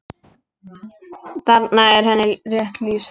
Þarna er henni rétt lýst.